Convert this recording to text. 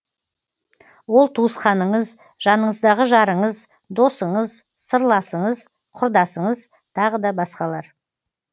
ол туысқаныңыз жаныңыздағы жарыңыз досыңыз сырласыңыз құрдасыңыз тағы да басқалар